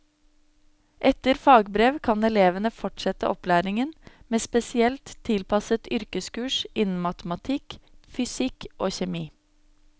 Etter fagbrev kan elevene fortsette opplæringen med spesielt tilpasset yrkeskurs innen matematikk, fysikk og kjemi.